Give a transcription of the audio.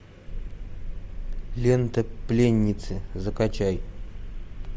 лента пленницы закачай